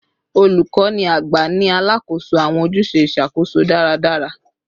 Olukọni agba ni alakoso awọn ojuse iṣakoso daradara